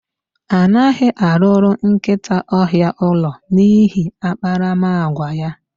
Anaghị arụrụ nkịta ọhịa ụlọ n'ihi akparamagwa ya.